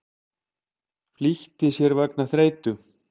Flýtti sér vegna þreytu